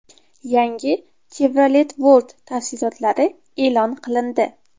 Yangi Chevrolet Volt tafsilotlari e’lon qilindi.